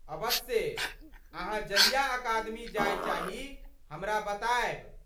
अबस्से, अहाँ जहिया अकादमी जाय चाही, हमरा बतायब।